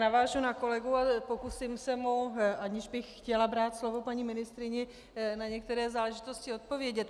Navážu na kolegu a pokusím se mu, aniž bych chtěla brát slovo paní ministryni, na některé záležitosti odpovědět.